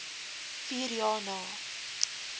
vier jaar na